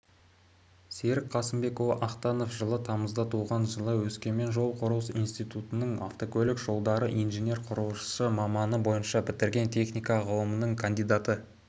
серік қасымбекұлы ақтанов жылы тамызда туған жылы өскемен жол-құрылыс институтын автокөлік жолдары инженер-құрылысшы мамандығы бойынша бітірген техника ғылымының кандидаты